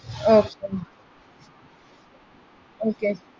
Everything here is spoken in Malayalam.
Okay Okay